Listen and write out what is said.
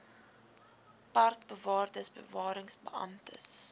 parkbewaarders bewarings beamptes